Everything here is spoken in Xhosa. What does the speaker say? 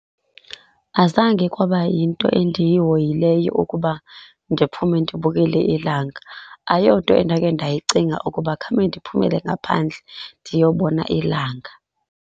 Azange kwaba yinto endiyihoyileyo ukuba ndiphuume ndiyobubukela ilanga, ayonto endakhe ndayicinga ukuba khawume ndiphumele ngaphandle ndiyobona ilanga.